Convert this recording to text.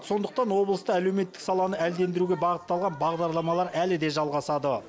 сондықтан облыста әлеуметтік саланы әлдендіруге бағытталған бағдарламалар әлі де жалғасады